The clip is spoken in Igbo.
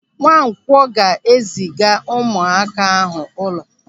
Nwankwọ ga-eziga ụmụaka ahụ ụlọ.